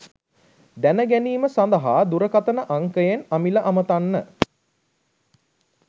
දැනගැනීම සඳහා දුරකතන අංකයෙන් අමිල අමතන්න